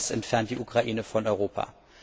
Auch das entfernt die Ukraine von Europa.